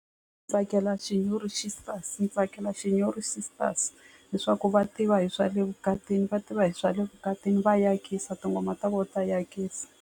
Tsakela Shinyori sister ni tsakela Shinyori sisters leswaku va tiva hi swa le vukatini va tiva hi swa le vukatini va yakisa tinghoma ta vona ta yakisa.